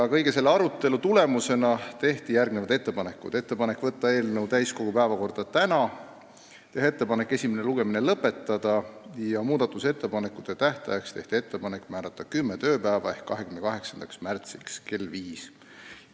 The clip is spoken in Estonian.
Kogu selle arutelu tulemusena tehti järgmised ettepanekud: võtta eelnõu täiskogu päevakorda tänaseks, teha ettepanek esimene lugemine lõpetada ja määrata muudatusettepanekute tähtajaks kümme tööpäeva ehk 28. märts kell 17.